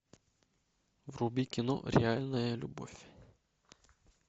вруби кино реальная любовь